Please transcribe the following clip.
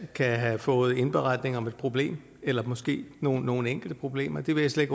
kan have fået indberetning om et problem eller måske nogle nogle enkelte problemer det vil jeg slet